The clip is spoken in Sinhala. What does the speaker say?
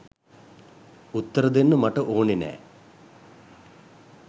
උත්තර දෙන්න මට ඕනේ නෑ.